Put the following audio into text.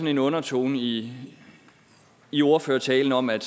en undertone i i ordførertalen om at